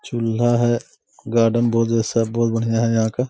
चुला है गार्डन बहुत सब बहुत बढ़िया है यहाँ का--